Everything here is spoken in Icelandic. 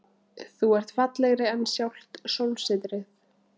Þú ert fallegri en sjálft sólsetrið.